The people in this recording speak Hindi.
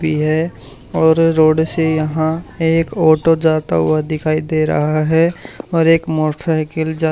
भी है और रोड से यहां एक ऑटो जाता हुआ दिखाई दे रहा है और एक मोटरसाइकिल जा --